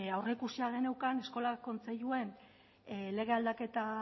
aurreikusia geneukan eskola kontseiluen lege aldaketa